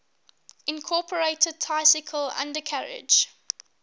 incorporated tricycle undercarriage